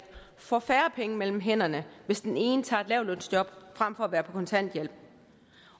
får færre penge mellem hænderne hvis den ene tager et lavtlønsjob frem for at være på kontanthjælp